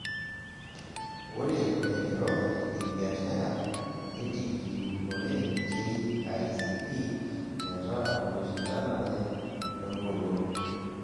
Ore laigerok lebiashara netigilunore KICD metaa oloishindanare, wengolon.